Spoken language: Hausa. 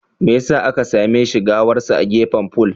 Me yasa aka same shi gawarsa a gefen fol?